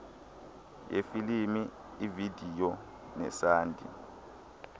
yefilimu ivideyo nesandi